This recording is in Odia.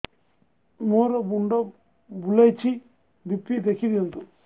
ମୋର ମୁଣ୍ଡ ବୁଲେଛି ବି.ପି ଦେଖି ଦିଅନ୍ତୁ